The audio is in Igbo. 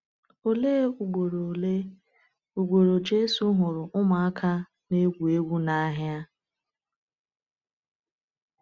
Òlee ugboro Òlee ugboro Jésù hụrụ ụmụaka na-egwu egwu n’ahịa?